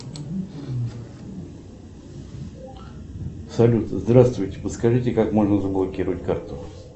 салют здравствуйте подскажите как можно заблокировать карту